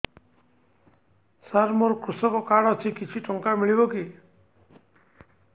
ସାର ମୋର୍ କୃଷକ କାର୍ଡ ଅଛି କିଛି ଟଙ୍କା ମିଳିବ କି